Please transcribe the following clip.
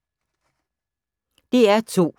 DR2